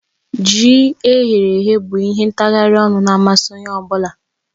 Ji eyere èyé bụ ihe ntaghari ọnụ na amasị Onye ọ bụla